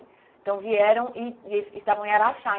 Então vieram e e eles estavam em Araxá.